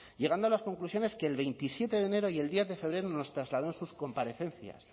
llegando a las conclusiones que el veintisiete de enero y el diez de febrero nos trasladó en sus comparecencias